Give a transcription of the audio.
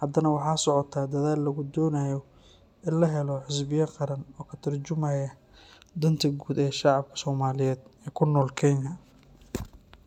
haddana waxaa socota dadaal lagu doonayo in la helo xisbiya qaran oo ka tarjumaya danta guud ee shacabka Soomaaliyeed ee ku nool Kenya.